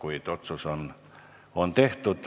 Aga otsus on tehtud.